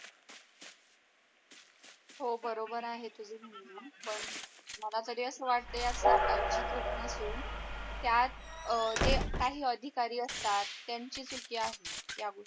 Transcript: हो बरोबर आहे तुझ म्हणण पण मला तरी अस वाटते यात सरकारची चूक नसून त्यात अह जे काही अधिकारी असतात त्यांची चुकी आहे या गोष्टी मध्ये.